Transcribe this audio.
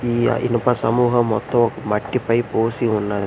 ఈయ ఇనుప సమూహం మొత్తం ఒక మట్టిపై పోసి ఉన్నది.